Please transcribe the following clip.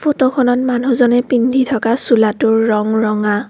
ফটোখনত মানুহজনে পিন্ধি থকা চোলাটোৰ ৰং ৰঙা।